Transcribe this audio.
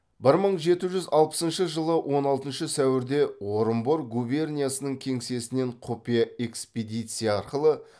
бір мың жеті жүз алпысыншы жылы он алтыншы сәуірде орынбор губерниясының кеңсесінен құпия экспедиция арқылы